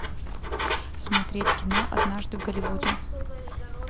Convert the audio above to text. смотреть кино однажды в голливуде